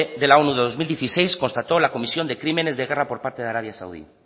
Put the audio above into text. de la onu de dos mil dieciséis constató la comisión de crímenes de guerra por parte de arabia saudí